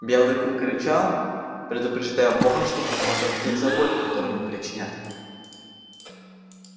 белый клык рычал предупреждая бога что готов отомстить за боль которую ему причинят